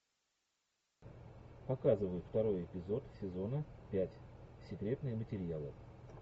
показывай второй эпизод сезона пять секретные материалы